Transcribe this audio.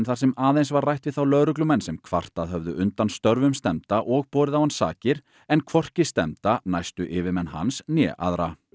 þar sem aðeins var rætt við þá lögreglumenn sem kvartað höfðu undan störfum stefnda og borið á hann sakir en hvorki stefnda næstu yfirmenn hans né aðra